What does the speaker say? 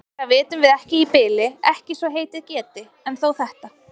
Meira vitum við ekki í bili, ekki svo heitið geti. en þó þetta.